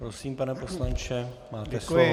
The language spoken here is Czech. Prosím, pane poslanče, máte slovo.